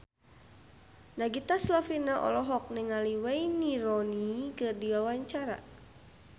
Nagita Slavina olohok ningali Wayne Rooney keur diwawancara